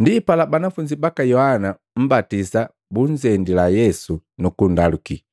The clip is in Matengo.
Ndipala banafunzi baka Yohana Mmbatisa bunzendila Yesu, nukundaluki,